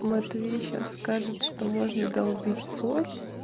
матвей сейчас скажет что можно долбить соль